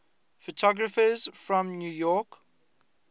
photographers from new york